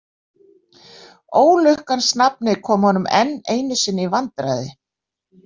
Ólukkans nafnið kom honum enn einu sinni í vandræði.